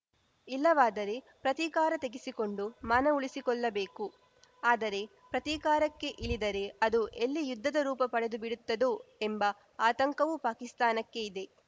ಇಲ್ಲವಾದರೆ ಪ್ರತೀಕಾರ ತೆಗೆಸಿಕೊಂಡು ಮಾನ ಉಳಿಸಿಕೊಳ್ಳಬೇಕು ಆದರೆ ಪ್ರತೀಕಾರಕ್ಕೆ ಇಳಿದರೆ ಅದು ಎಲ್ಲಿ ಯುದ್ಧದ ರೂಪ ಪಡೆದುಬಿಡುತ್ತೋ ಎಂಬ ಆತಂಕವೂ ಪಾಕಿಸ್ತಾನಕ್ಕೆ ಇದೆ